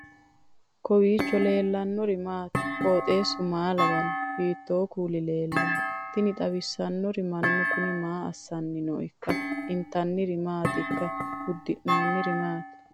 kowiicho leellannori maati ? qooxeessu maa lawaanno ? hiitoo kuuli leellanno ? tini xawissannori mannu kuni maa assanni nooikka intanniri maatikka uddirinori maati